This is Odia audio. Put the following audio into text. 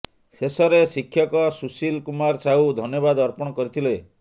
ଶେଷରେ ଶିକ୍ଷକ ସୁଶୀଲ କୁମାର ସାହୁ ଧନ୍ୟବାଦ ଅର୍ପଣ କରିଥିଲେ